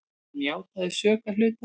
Hann játaði sök að hluta.